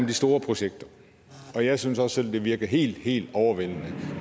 de store projekter jeg synes også selv det virker helt helt overvældende